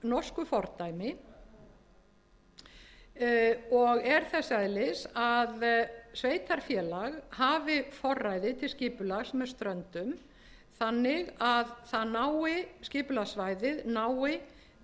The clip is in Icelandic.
norsku fordæmi og er þess eðlis að sveitarfélag hafi forræði til skipulags með ströndum þannig að skipulagssvæðið nái til þess hafsvæðis sem er